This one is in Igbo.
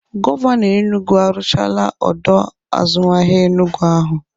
Gọvanọ Enugwu arụchaala ọdọ azụmahịa Enugwu ahụ.